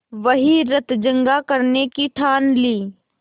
वहीं रतजगा करने की ठान ली